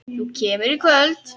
Þú kemur í kvöld!